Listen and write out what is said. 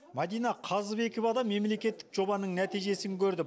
мадина қазыбекова да мемлекеттік жобаның нәтижесін көрді